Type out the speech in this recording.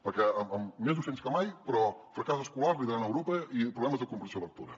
perquè més docents més que mai però fracàs escolar liderant a europa i problemes de comprensió lectora